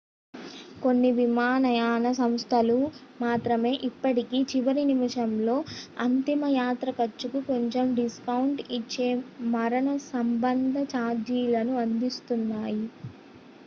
కొన్ని విమానయాన సంస్థలు మాత్రమే ఇప్పటికీ చివరి నిమిషంలో అంతిమ యాత్ర ఖర్చుకు కొంచెం డిస్కౌంట్ ఇచ్చే మరణ సంబంధ ఛార్జీలను అందిస్తున్నాయి